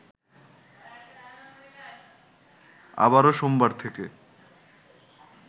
আবারো সোমবার থেকে